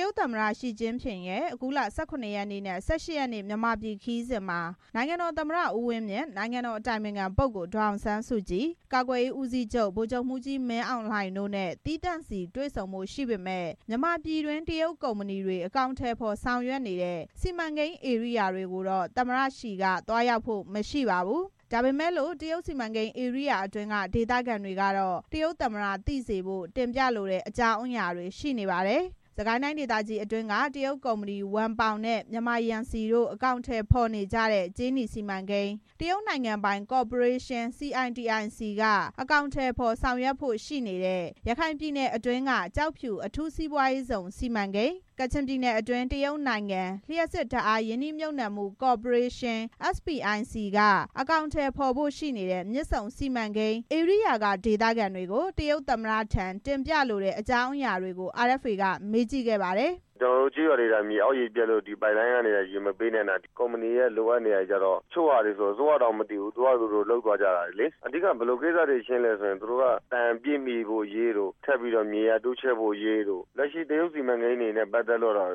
ရုတ်သမ္မတ ရှီကျင်းဖျင်ရဲ့ အခုလ ၁၇ ရက်နေ့နဲ့ ၁၈ ရက်နေ့ မြန်မာပြည်ခရီးစဉ်မှာ နိုင်ငံတော်သမ္မ တ ဦးဝင်းမြင့်၊ နိုင်ငံတော် အတိုင်ပင်ခံပုဂ္ဂိုလ် ဒေါ်အောင်ဆန်းစုကြည်၊ ကာကွယ်ရေးဦးစီးချုပ် ဗိုလ်ချုပ်မှူးကြီး မင်းအောင်လှိုင်တို့နဲ့ သီးသန့်စီတွေ့ဆုံဖို့ ရှိပေမယ့် မြန်မာပြည်တွင်း တရုတ်ကုမ္ပဏီတွေ အကောင်အထည်ဖော် ဆောင်ရွက်နေတဲ့ စီမံကိန်း ဧရိယာတွေကိုတော့ သမ္မတရှီက သွားရောက်ဖို့ မရှိပါဘူး။ ဒါပေမဲ့လို့ တရုတ်စီမံကိန်းဧရိယာအတွင်းက ဒေသခံတွေကတော့ တရုတ်သမ္မတ သိစေဖို့ တင်ပြလိုတဲ့ အကြောင်းအရာတွေ ရှိနေပါတယ်။ စစ်ကိုင်းတိုင်းဒေသကြီးအတွင်းက တရုတ်ကုမ္ပဏီ ဝမ်ပေါင်နဲ့ မြန်မာရန်စီတို့ အကောင်အထည်ဖော် နေကြတဲ့ ကြေးနီစီမံကိန်း၊ တရုတ်နိုင်ငံပိုင်ကော်ပိုရေးရှင်း CITIC က အကောင်အထည်ဖော် ဆောင်ရွက်ဖို့ ရှိနေတဲ့ ရခိုင်ပြည်နယ်အတွင်းက ကျောက်ဖြူအထူးစီးပွားရေးဇုန် စီမံကိန်း၊ ကချင်ပြည် နယ်အတွင်း တရုတ်နိုင်ငံ လျှပ်စစ်ဓါတ်အားရင်းနှီးမြုပ်နှံမှု ကော်ပိုရေးရှင်း SPIC က အကောင်အထည် ဖော်ဖို့ရှိတဲ့ မြစ်ဆုံစီမံကိန်း ဧရိယာက ဒေသခံတွေကို တရုတ်သမ္မတထံ တင်ပြလိုတဲ့ အကြောင်းအရာတွေကို RFA က မေးကြည့်ခဲ့ပါတယ်။ “ကျနော်တို့ ကျေးရွာတွေက မြေအောက်ရေပျက်လို့ ပိုက်လိုင်းက ရေမပေးနိုင်တာ၊ ကုမ္ပဏီက လိုအပ်နေတာတွေဆို တချို့ဟာတွေ အစိုးရတောင်မသိဘူး။ သူတို့ဟာသူတို့ လုပ်သွားကြတာ။ အဓိက ဘယ်လိုကိစ္စတွေလည်းဆို သူတို့က တန်ပြည့်မှီဖို့အရေး၊ မြေယာတိုးချဲ့ဖို့အရေးတို့။ တရုတ်စီမံကိန်းတွေနဲ့ ပတ်သက်ပြီး လက်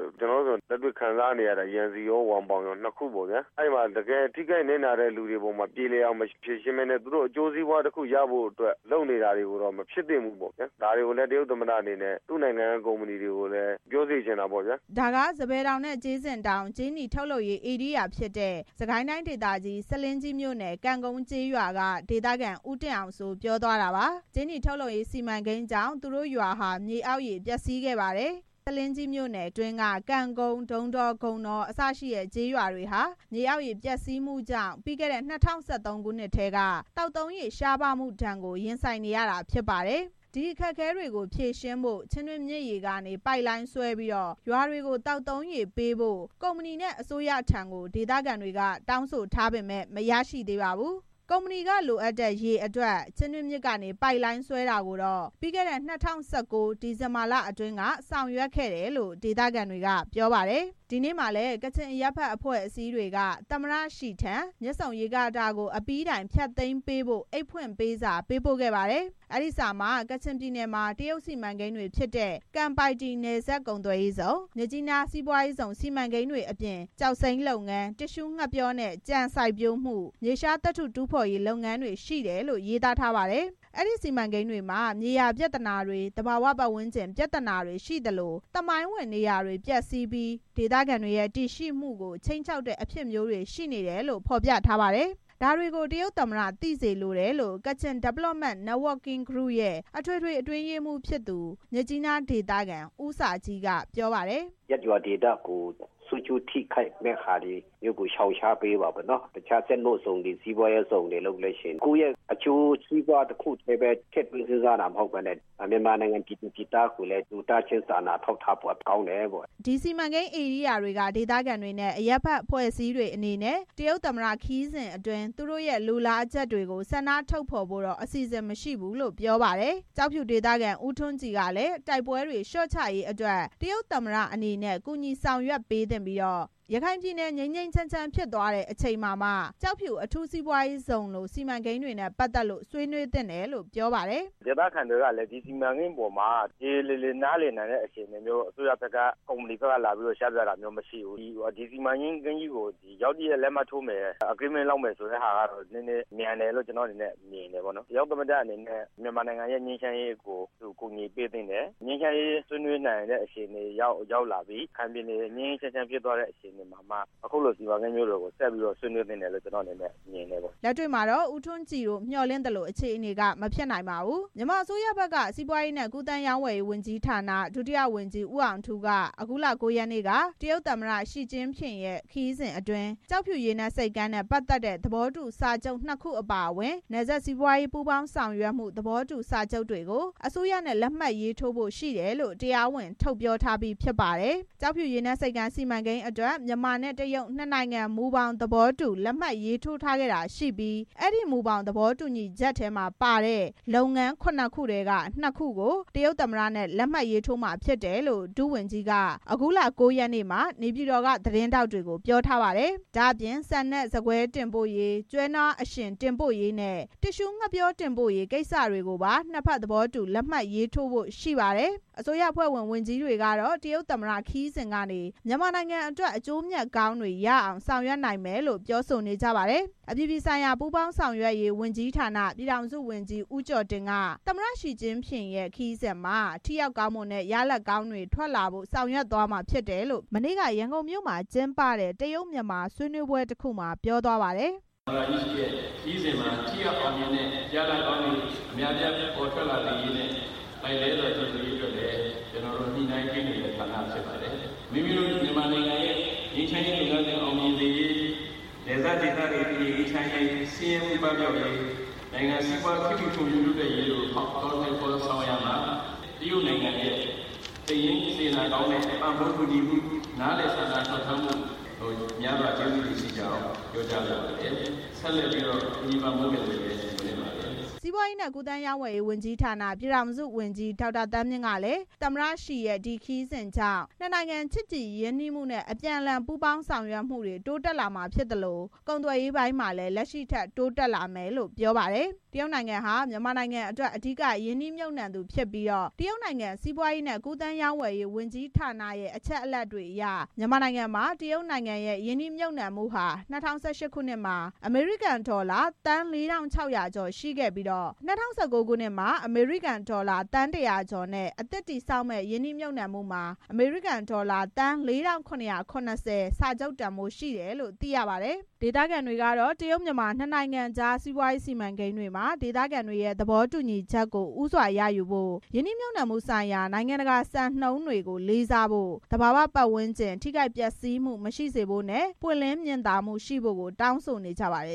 တွေ့ခံစားနေရတာ။ ကျနော်တို့ဆို ရန်စီကော၊ ဝမ်ပေါင်ကော၊ အဲဒီမှာ တကယ် ထိခိုက်နစ်နာတဲ့ လူတွေအပေါ်မှာ ပြေလည်အောင်မဖြေရှင်းဘဲ သူတို့အကျိုးစီးပွား တစ်ခု ရဖို့အတွက် လုပ်နေတာတွေကိုတော့ မဖြစ်သင့်ဘူးပေါ့ဗျာ။ ဒါတွေကို တရုတ်သမ္မတအနေနဲ့ သူ့နိုင်ငံက ကုမ္ပဏီတွေကို ပြောစေချင်တာပေါ့ဗျာ။” ဒါက စပယ်တောင်နဲ့ ကြေးစင်တောင် ကြေးနီထုတ်လုပ်ရေး ဧရိယာဖြစ်တဲ့ စစ်ကိုင်းတိုင်းဒေသကြီး၊ ဆားလင်းကြီးမြို့နယ်၊ ကံကုန်းကျေးရွာက ဒေသခံ ဦးတင့်အောင်စိုး ပြောသွားတာပါ။ ကြေးနီထုတ်လုပ်ရေး စီမံကိန်းတွေကြောင့် သူတို့ရွာဟာ မြေအောက်ရေပျက်စီးခဲ့ပါတယ်။ ဆားလင်းကြီးမြို့နယ် အတွင်းက ကံကုန်း၊ ဒုံးတော၊ ဂုန်တော အစရှိတဲ့ ကျေးရွာတွေဟာ မြေအောက်ရေ ပျက်စီးမှုကြောင့် ပြီးခဲ့တဲ့ ၂၀၁၃ ခုနှစ်ထဲက သောက်သုံးရေ ရှားပါးမှုဒဏ်ကို ရင်ဆိုင်နေရတာဖြစ်ပါတယ်။ ဒီအခက်အခဲကို ဖြေရှင်းဖို့ ချင်းတွင်းမြစ်ရေကနေ ပိုက်လိုင်းဆွဲပြီး ရွာတွေကို သောက်သုံးရေပေးဖို့ ကုမ္ပဏီနဲ့ အစိုးရထံ ဒေသခံတွေက တောင်းဆိုထားပေမယ့် မရရှိသေးပါဘူး။ ကုမ္ပဏီက လိုအပ်တဲ့ ရေအတွက် ချင်းတွင်းမြစ်ကနေ ပိုက်လိုင်းဆွဲတာကိုတော့ ပြီးခဲ့တဲ့ ၂၀၁၉ ဒီဇင်ဘာလ အတွင်းက ဆောင်ရွက်ခဲ့တယ်လို့ ပြောပါတယ်။ ဒီနေ့မှာလည်း ကချင်အရပ်ဘက်အဖွဲ့အစည်းတွေက သမ္မတရှီထံ မြစ်ဆုံရေကာတာကို အပြီးတိုင် ဖျတ်သိမ်း ပေးဖို့အိတ်ဖွင့် ပေးစာပေးပို့ခဲ့ပါတယ်။ အဲဒီစာမှာ ကချင်ပြည်နယ်မှာ တရုတ်စီမံကိန်းတွေဖြစ်တဲ့ ကန်ပိုက်တီ နယ်စပ်ကုန်သွယ်ရေးဇုန်၊ မြစ်ကြီးနား စီးပွားရေးဇုန်စီမံကိန်းတွေအပြင် ကျောက်စိမ်းလုပ်ငန်း၊ တစ်သျှူးငှက်ပျောနဲ့ ကြံစိုက်ပျိုးမှု၊ မြေရှားသတ္တု တူးဖော်ရေး လုပ်ငန်းတွေရှိတယ်လို့ ရေးသားထားပါတယ်။ အဲဒီစီမံကိန်းတွေမှာ မြေယာပြဿနာတွေ၊ သဘာဝပတ်ဝန်းကျင် ပြဿနာတွေရှိသလို သမိုင်းဝင် နေရာတွေ ပျက်စီးပြီး ဒေသခံတွေရဲ့ တည်ရှိမှုတွေကို ခြိမ်းခြောက်တဲ့ အဖြစ်မျိုးတွေရှိနေတယ်လို့ ဖော်ပြထားပါတယ်။ ဒါတွေကို တရုတ်သမ္မတ သိစေလိုတယ်လို့ Kachin Development Networking Group ရဲ့ အထွေထွေ အတွင်းရေးမှူးဖြစ်သူ မြစ်ကြီးနားဒေသခံ ဦးစာဂျီးက ပြောပါတယ်။ “ရပ်ရွာဒေသကို ဆိုးကျိုးဖြစ်မယ့် ထိခိုက်မယ့်ဟာတွေကို ရှောင်ရှားပေးပါ။ တခြားစီးပွားရေးဇုန်တွေ စက်မှုဇုန်တွေလုပ်တဲ့အခါ ကိုယ့်ရဲ့ အကျိုးစီးပွားတစ်ခုတည်းပဲ ထည့်သွင်းစဉ်းစားတာမဟုတ်ဘဲ မြန်မာနိုင်ငံ ပြည်သူပြည်သားကိုလည်း လူသားချင်း စာနာထောက်ထားဖို့ ကောင်းတယ်ပေါ့။” ဒီစီမံကိန်းဧရိယာတွေက ဒေသခံတွေနဲ့ အရပ်ဘက် အဖွဲ့အစည်းတွေအနေနဲ့ တရုတ်သမ္မတ ခရီးစဉ်အတွင်း သူတို့ လိုလားချက်တွေကို ဆန္ဒထုတ်ဖော်ဖို့ အစီစဉ်မရှိဘူးလို့ ပြောပါတယ်။ ကျောက်ဖြူဒေသခံ ဦးထွန်းကြည် ကလည်း တိုက်ပွဲတွေ လျော့ချရေးအတွက် တရုတ်သမ္မတအနေနဲ့ ကူညီ ဆောင်ရွက်ပေးသင့်ပြီး ရခိုင်ပြည်နယ် ငြိမ်းငြိမ်း ချမ်းချမ်း ဖြစ်သွားတဲ့အချိန်မှာ ကျောက်ဖြူ အထူးစီးပွားရေးဇုန်လို စီမံကိန်းတွေနဲ့ ပတ်သက်လို့ ဆွေးနွေးသင့်တယ်လို့ ပြောပါတယ်။ “ဒေသခံတွေကို ဒီစီမံကိန်းနဲ့ ပတ်သက်လို့ ရေရေလည်လည် နားလည်နိုင်တဲ့ အခြေအနေမျိုး အစိုးရ ဘက်ကကော၊ ကုမ္ပဏီဘက်ကကော လာရောက်ရှင်းပြတာမရှိသေးဘူး။ ဒီစီမံကိန်းကို ရုတ်တရက် လက်မှတ်ရေးထိုးမယ် ဆိုတာကတော့ နည်းနည်း မြန်တယ်လို့ ကျနော်ကတော့ မြင်တယ်။ တရုတ်သမ္မတအနေနဲ့ ငြိမ်းချမ်းရေးကို ကူညီပေးသင့်တယ်။ ငြိမ်းချမ်းရေး ဆွေးနွေးနိုင်တဲ့ အခြေအနေ ရောက်သွားပြီ။ ရခိုင်ပြည်နယ် ငြိမ်းငြိမ်းချမ်းချမ်း ဖြစ်သွားတဲ့ အခြေအနေရောက်သွားမှ အခုလို စီမံကိန်းတွေကို ဆက်ပြီးတော့ ဆွေးနွေးသင့်တယ်လို့ ကျနော့် အနေနဲ့ မြင်တယ်။” လက်တွေ့မှာတော့ ဦးထွန်းကြည်တို့ မျှော်လင့်သလို အခြေအနေက မဖြစ်နိုင်ပါဘူး။ မြန်မာအစိုးရဘက်က စီးပွားရေးနဲ့ ကူးသန်းရောင်းဝယ်ရေးဝန်ကြီးဌာန ဒုတိယဝန်ကြီး ဦးအောင်ထူးက အခုလ ၉ ရက်နေ့က တရုတ်သမ္မတ ရှီကျင်းဖျင်ရဲ့ ခရီးစဉ်အတွင်း ကျောက်ဖြူ ရေနက်ဆိပ်ကမ်းနဲ့ ပတ်သက်တဲ့ သဘောတူစာချုပ် နှစ်ခုအပါအဝင် နယ်စပ်စီးပွားရေး ပူးပေါင်းဆောင်ရွက်မှု သဘောတူ စာချုပ်တွေကို အစိုးရနဲ့ လက်မှတ်ရေးထိုးဖို့ ရှိတယ်လို့ တရားဝင်ထုတ်ပြောထားပြီး ဖြစ်ပါတယ်။ ကျောက်ဖြူ ရေနက်ဆိပ်ကမ်း စီမံကိန်းအတွက် မြန်မာနဲ့ တရုတ် နှစ်နိုင်ငံ မူဘောင် သဘောတူ လက်မှတ် ရေးထိုးခဲ့တာရှိပြီး အဲဒီမူဘောင် သဘောတူညီချက်ထဲမှာပါတဲ့ လုပ်ငန်း ခုနှစ်ခုထဲက နှစ်ခုကို တရုတ်သမ္မတနဲ့ လက်မှတ်ထိုးမှာ ဖြစ်တယ်လို့ ဒုတိယဝန်ကြီးက အခုလ ၉ ရက်နေ့မှာ နေပြည်တော် က သတင်းထောက်တွေကို ပြောထားပါတယ်။ ဒါ့အပြင် ဆန်နဲ့ ဆန်ကွဲ တင်ပို့ရေး၊ ကျွဲနွားအရှင်တွေ တင်ပို့ရေးနဲ့ တစ်သျှူးငှက်ပျော တင်ပို့ရေး ကိစ္စတွေကိုပါ နှစ်ဖက်သဘောတူ လက်မှတ်ရေးထိုးဖို့ ရှိပါတယ်။ အစိုးရအဖွဲ့ဝင် ဝန်ကြီးတွေကတော့ တရုတ်သမ္မတခရီးစဉ်ကနေ မြန်မာနိုင်ငံအတွက် အကျိုးမြတ် ကောင်းတွေရအောင် ဆောင်ရွက်နိုင်မယ်လို့ ပြောဆိုနေကြပါတယ်။ အပြည်ပြည်ဆိုင်ရာ ပူးပေါင်းဆောင်ရွက်ရေးဝန်ကြီးဌာန ပြည်ထောင်စုဝန်ကြီး ဦးကျော်တင်က သမ္မတရှီကျင်းဖျင်ရဲ့ ခရီးစဉ်မှာ ထိရောက်ကောင်းမွန်တဲ့ ရလဒ်ကောင်းတွေ ပေါ်ထွက်လာဖို့ ဆောင်ရွက်သွားမှာ ဖြစ်တယ်လို့ မနေ့က ရန်ကုန်မြို့မှာ ကျင်းပတဲ့ တရုတ် - မြန်မာ ဆွေးနွေးပွဲ တစ်ခုမှာ ပြောသွားပါတယ်။ “သမ္မတရှီရဲ့ ခရီးစဉ်မှာ ထိရောက်ကောင်းမွန်တဲ့ ရလဒ်ကောင်းတွေ အများအပြား ထွက်ပေါ်လာစေရေးနဲ့ လှိုက်လှဲစွာ ကြိုဆိုရေးအတွက် ညှိနှိုင်းပေးနေတဲ့ ဌာနဖြစ်ပါတယ်။ မိမိတို့ မြန်မာနိုင်ငံအနေနဲ့ ငြိမ်းချမ်းရေး လုပ်ငန်းစဉ်အောင်မြင်စေရေး၊ နယ်စပ်ဒေသ တည်ငြိမ်အေးချမ်းရေး၊ ဆင်းရဲမှု ပပျောက်စေရေး၊ နိုင်ငံစီးပွား ခေတ်မှီတိုးတက်ရေးတို့ကို အကောင်အထည် ဖော်ဆောင်ရာမှာ တရုတ်နိုင်ငံရဲ့ စိတ်ရင်းစေတနာ ကောင်းစွာ ပံ့ပိုးကူညီမှု နားလည်စာနာပေးမှု များစွာကျေးဇူးတင်ကြောင်း ပြောလိုပါတယ်။ ဆက်လက်ပြီးတော့ ကူညီပံ့ပိုးစေလိုပါတယ်။” စီးပွားရေးနဲ့ ကူးသန်းရောင်းဝယ်ရေးဝန်ကြီးဌာန ပြည်ထောင်စုဝန်ကြီး ဒေါက်တာ သန်းမြင့်ကလည်း သမ္မတရှီရဲ့ ဒီခရီးစဉ်ကြောင့် နှစ်နိုင်ငံ ချစ်ကြည်ရင်းနှီးမူနဲ့ အပြန်အလှန် ပူးပေါင်းဆောင်ရွက်မှု တိုးတက်လာမှာ ဖြစ်သလို ကုန်သွယ်ရေး အပိုင်းမှာလည်း လက်ရှိထက် တိုးတက် လာမယ်လို့ ပြောပါတယ်။ တရုတ်နိုင်ငံဟာ မြန်မာနိုင်ငံအတွက် အဓိက ရင်းနှီးမြုပ်နှံသူဖြစ်ပြီး တရုတ်နိုင်ငံစီးပွားရေးနဲ့ ကူးသန်း ရောင်းဝယ်ရေး ဝန်ကြီးဌာနရဲ့ အချက်အလက်တွေအရ မြန်မာနိုင်ငံမှာတရုတ်နိုင်ငံရင်းနှီးမြုပ်နှံမှုဟာ ၂၀၁၈ ခုနှစ်မှာ အမေရိကန်ဒေါ်လာ ၄၆၈၀ သန်း ရှိခဲ့ပြီး ၂၀၁၉ ခုနှစ်မှာ အမေရိကန်ဒေါ်လာ ၁၀၅ သန်းနဲ့ အသစ် တည်ဆောက်မယ့် ရင်းနှီးမြုပ်နှံမှုမှာ သန်း ၄၇၇၀ စာချုပ်တန်ဖိုးရှိတယ်လို့ သိရပါ တယ်။ ဒေသခံတွေကတော့ တရုတ် - မြန်မာ နှစ်နိုင်ငံကြား စီးပွားရေးစီမံကိန်းတွေမှာ ဒေသခံတွေရဲ့ သဘော တူညီချက်ဦးစွာရယူဖို့၊ ရင်းနှီးမြှုပ်နှံမှုဆိုင်ရာ နိုင်ငံတကာစံနှုန်းတွေကို လေးစားဖို့၊ သဘာဝပတ်ဝန်း ကျင် ထိခိုက်ပျက်စီးမှု မရှိစေဖို့၊ ပွင့်လင်းမြင်သာမှုရှိဖို့ တောင်းဆိုနေကြပါတယ်